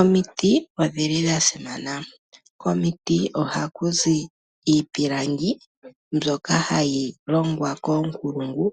Omiti odhili dha simana. Komiti ohaku zi iipilangi mbyoka hayi longwa koonkulungu